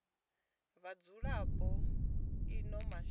ha vhadzulapo vha ino shango